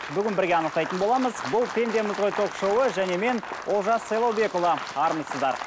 бүгін бірге анықтайтын боламыз бұл пендеміз ғой ток шоуы және мен олжас сайлаубекұлы армысыздар